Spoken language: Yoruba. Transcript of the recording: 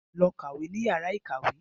Lọ kàwé ní yàrá ìkàwé.